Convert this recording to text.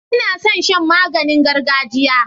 Ina son shan maganin gargajiya.